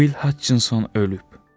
Will Hutchinson ölüb.